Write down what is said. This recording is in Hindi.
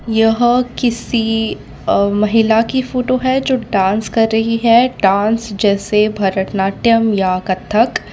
यह किसी अ महिला की फोटो है जो डांस कर रही है डांस जैसे भरतनाट्यम या कथक।